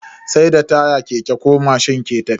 Sai da taya keke ko mashin ke tafiya.